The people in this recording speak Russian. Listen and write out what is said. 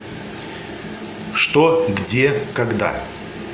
что где когда